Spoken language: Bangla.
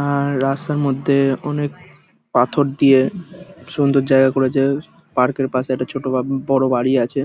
আ-আ-র রাস্তার মধ্যে অনেক পাথর দিয়ে সুন্দর জায়গা করেছে। পার্ক -এর পাশে একটা ছোট বা বড় বাড়ি আছে